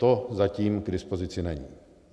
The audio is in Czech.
To zatím k dispozici není.